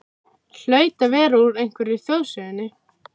Hlaut að vera úr einhverri þjóðsögunni.